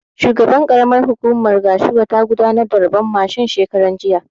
Shugaban ƙaramar hukumar Gashua ta gudanar da rabon mashin shekaran jiya